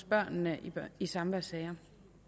børnene i samværssager